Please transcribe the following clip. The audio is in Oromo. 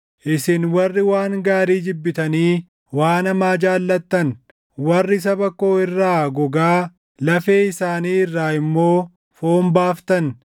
Isin warri waan gaarii jibbitanii waan hamaa jaallattan, warri saba koo irraa gogaa, lafee isaanii irraa immoo foon baaftan,